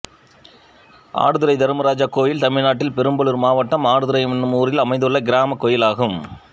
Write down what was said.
ஆடுதுறை தர்மராஜா கோயில் தமிழ்நாட்டில் பெரம்பலூர் மாவட்டம் ஆடுதுறை என்னும் ஊரில் அமைந்துள்ள கிராமக் கோயிலாகும்